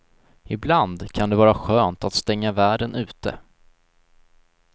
Ibland kan det vara skönt att stänga världen ute.